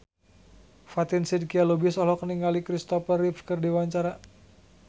Fatin Shidqia Lubis olohok ningali Kristopher Reeve keur diwawancara